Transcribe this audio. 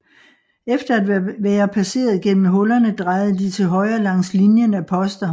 Efter at være passeret igennem hullerne drejede de til højre langs linjen af poster